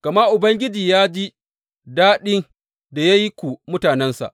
Gama Ubangiji ya ji daɗi da ya yi ku mutanensa.